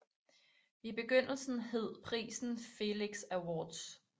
I begyndelsen hed prisen Felix Awards